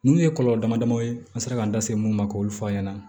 Ninnu ye kɔlɔlɔ damadɔ ye an sera k'an da se mun ma k'olu fɔ an ɲɛna